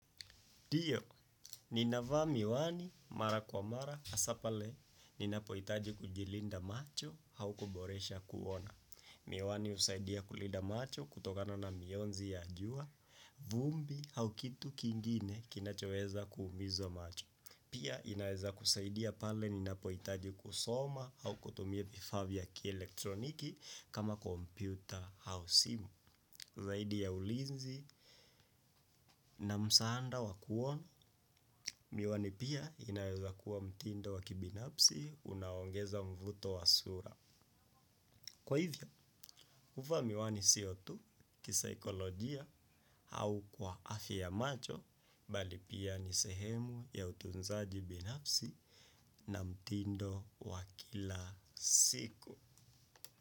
Ndiyo, ninavaa miwani mara kwa mara hasa pale ninapohitaji kujilinda macho au kuboresha kuona. Miwani husaidia kulinda macho kutokana na mionzi ya jua, vumbi au kitu kingine kinachoweza kuumiza macho. Pia inaweza kusaidia pale ninapohitaji kusoma au kutumia vifaa vya kielektroniki kama kompyuta au simu. Zaidi ya ulinzi na msaada wa kuona, miwani pia inaweza kuwa mtindo wa kibinafsi unaoongeza mvuto wa sura. Kwa hivyo, kuvaa miwani si tu kisaikolojia au kwa afya ya macho bali pia ni sehemu ya utunzaji binafsi na mtindo wa kila siku.